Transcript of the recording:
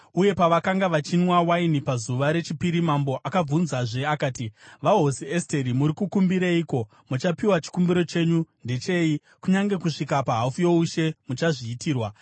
uye pavakanga vachinwa waini pazuva rechipiri, mambo akabvunzazve akati, “VaHosi Esteri, muri kukumbireiko? Muchapiwa. Chikumbiro chenyu ndechei? Kunyange kusvika pahafu youshe, muchazviitirwa.”